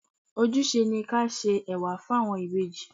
Ojúse ni kí á se Ẹ̀wà fún àwọn ìbejì.